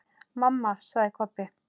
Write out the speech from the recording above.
Mamma, sagði Kobbi.